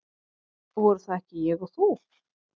Voru það ekki ég og þú?